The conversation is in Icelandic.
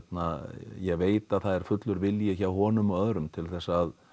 ég veit að það er fullur vilji hjá honum og öðrum til þess að